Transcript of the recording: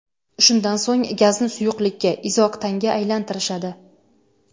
Shundan so‘ng gazni suyuqlikka – izooktanga aylantirishadi.